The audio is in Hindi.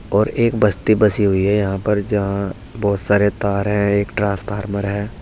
और एक बस्ती बसी हुई है यहां पर जहां बहुत सारे तार है एक ट्रांसफार्मर है।